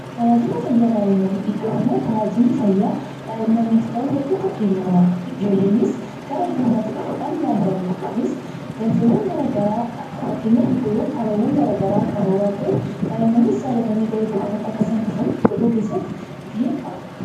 Tajaajila fayyaa daa'immanii irraa iddoo itti daa'immaniif ta'u hedduutu Kennama. Ijoolleenis gara iddoo kanaatti dhufuudhaan yaalamu. Kunis galteewwan garaagaraa wanta abaaboowwan garaagaraa qaban waan ta'aniif ijoolleenis jaallatanii gara kana akka dhufan keessatti gahee qabu.